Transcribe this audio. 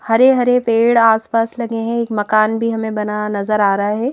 हरे-हरे पेड़ आसपास लगे हैं एक मकान भी हमें बना नजर आ रहा है।